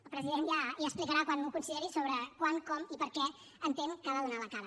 el president ja explicarà quan ho consideri quan com i per què entén que ha de donar la cara